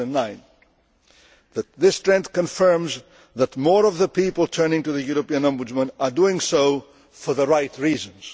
2009. This trend confirms that more of the people turning to the European Ombudsman are doing so for the right reasons.